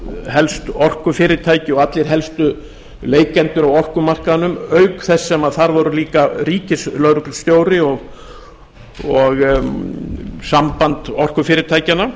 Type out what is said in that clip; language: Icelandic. helstu orkufyrirtæki og allir helstu leikendur á orkumarkaðnum auk þess sem þar voru líka ríkislögreglustjóri og samband orkufyrirtækjanna